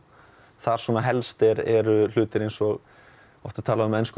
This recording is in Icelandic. þar svona helst eru hlutir eins og oft er talað á ensku